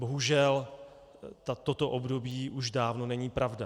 Bohužel, toto období už dávno není pravda.